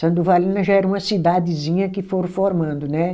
São Durvalina já era uma cidadezinha que foram formando, né?